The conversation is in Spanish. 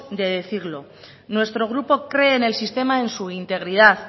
de decirlo nuestro grupo cree en el sistema en su integridad